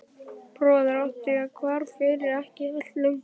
Bróður átti ég er hvarf fyrir ekki allt löngu.